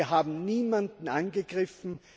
Wir haben niemanden angegriffen.